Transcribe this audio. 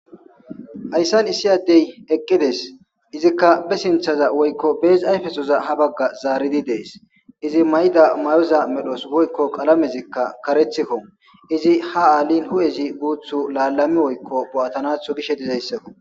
Hayssan issi addey eqqides izikka be sinthaza woykko beesi ayfesoza ha bagga zaaridi dees izi mayda mayoza medhos woykko qalamezikka karethikko izi ha aalin hu7ezi guuthu laalami woykko bo7atanatho gishe dizayssako.